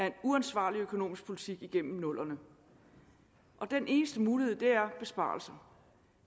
en uansvarlig økonomisk politik op igennem nullerne den eneste mulighed er besparelser